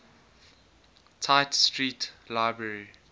tite street library